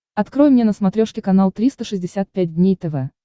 открой мне на смотрешке канал триста шестьдесят пять дней тв